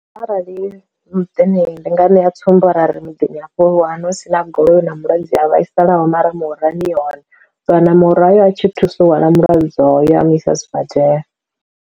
Arali muṱani ndi nga ṋea tsumbo ara ri muḓini hafho one hu si na goloi na mulwadze a vhaisalaho mara murahuni i hone, so na murahu a tshi thusa u wana mulwadze hoyo ambisa sibadela.